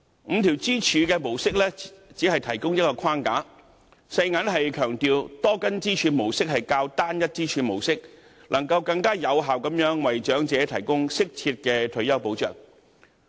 五根支柱模式只是提供一個框架，世界銀行強調多根支柱模式會較單一支柱模式更能有效地為長者提供適切退休保障。